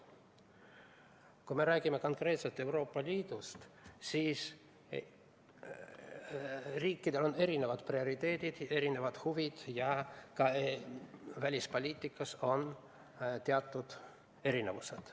Kui me räägime konkreetselt Euroopa Liidust, siis liikmesriikidel on erisugused prioriteedid, erisugused huvid ja ka välispoliitikas on teatud erinevused.